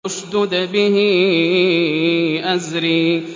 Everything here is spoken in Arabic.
اشْدُدْ بِهِ أَزْرِي